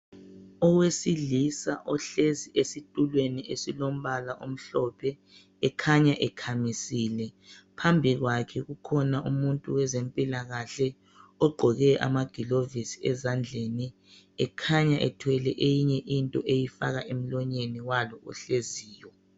Owesilisa ohlezi esitulweni esilombala omhlophe ekhanya ekhamisile. Phambi kwakhe kukhona umuntu wezempilakahle ogqoke amagilovisi ezandleni. Ekhanya ethwele enye into eyifaka emlonyeni walo ohleziyo.